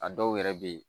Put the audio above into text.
A dɔw yɛrɛ bɛ ye